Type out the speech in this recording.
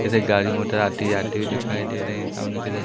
इधर गाड़ी मोटर आती जाती दिखाई दे रहे हैं सामने की इधर--